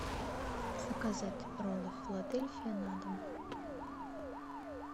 заказать роллы филадельфия на дом